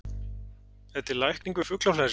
Er til lækning við fuglaflensu?